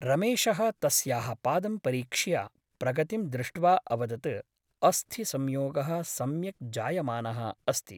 रमेशः तस्याः पादं परीक्ष्य प्रगतिं दृष्ट्वा अवदत् अस्थिसंयोगः सम्यक् जायमानः अस्ति ।